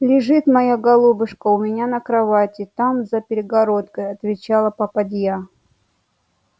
лежит моя голубушка у меня на кровати там за перегородкою отвечала попадья